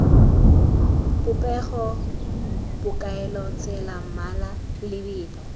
popego bokaelo tsela mmala lebelo